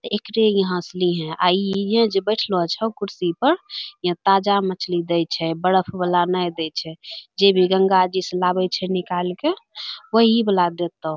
एकरे यहाँ स लिहें आ इ इ यं जे बैठलो छौ कुर्सी प यं ताजा मछली दै छै बरफ वला नै दै छै जे भी गंगाजी सं लाबै छै निकाल क वही बला देतौ।